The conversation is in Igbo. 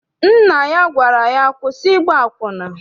Nna ya gwara ya, kwụsị ịgba akwụna!